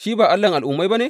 Shi ba Allahn Al’ummai ba ne?